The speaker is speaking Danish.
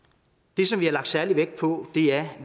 det som vi har lagt særlig vægt på er